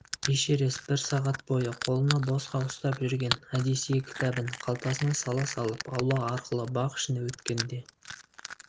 эшерест бір сағат бойы қолына босқа ұстап жүрген одиссей кітабын қалтасына сала салып аула арқылы бақ ішіне өткенде